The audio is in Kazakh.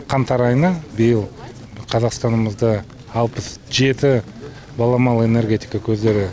қаңтар айына биыл қазақстанымызда алпыс жеті баламалы энергетика көздері